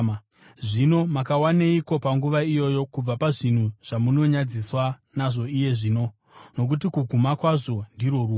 Zvino makawaneiko panguva iyoyo kubva pazvinhu zvamunonyadziswa nazvo, iye zvino? Nokuti kuguma kwazvo ndirwo rufu!